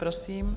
Prosím.